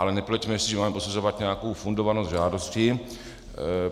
Ale nepleťme si, že máme posuzovat nějakou fundovanost žádosti.